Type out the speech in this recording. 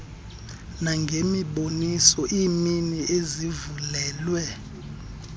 nangemiboniso iimini ezivulelwe